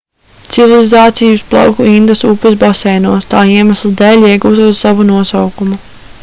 civilizācija uzplauka indas upes baseinos tā iemesla dēļ iegūstot savu nosaukumu